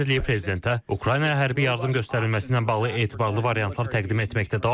Müdafiə Nazirliyi prezidentə Ukraynaya hərbi yardım göstərilməsi ilə bağlı etibarlı variantlar təqdim etməkdə davam edir.